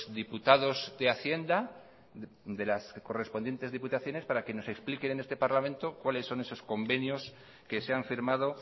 diputados de hacienda de las correspondientes diputaciones para que se nos expliquen en este parlamento cuáles son esos convenios que se han firmado